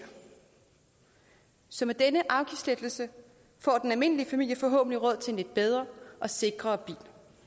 så med denne afgiftslettelse får den almindelige familie forhåbentlig råd til en lidt bedre og sikrere bil